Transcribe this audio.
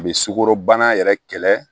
A bɛ sukoro bana yɛrɛ kɛlɛ